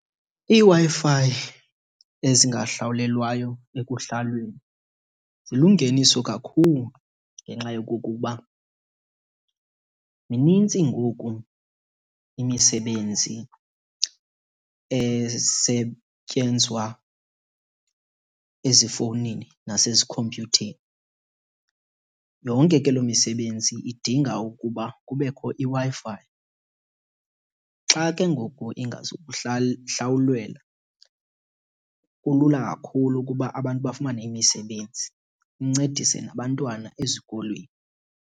IiWi-Fi ezingahlawulelwayo ekuhlaleni zilungeniso kakhulu ngenxa yokokuba minintsi ngoku imisebenzi esetyenzwa ezifowunini nasezikhompyutheni. Yonke ke loo misebenzi idinga ukuba kubekho iWi-Fi. Xa ke ngoku , kulula kakhulu ukuba abantu bafumane imisebenzi incedise nabantwana ezikolweni.